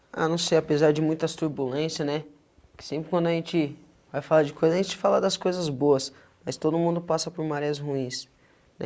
Ah, não sei, apesar de muitas turbulências, né, que sempre quando a gente vai falar de coisa, a gente fala das coisas boas, mas todo mundo passa por marés ruins.